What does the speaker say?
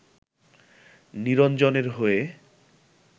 নিরঞ্জনের হয়ে